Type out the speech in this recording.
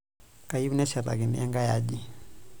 Keyieu neshetakini enkae aji.